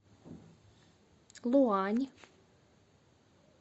луань